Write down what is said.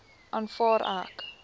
aanvaar ek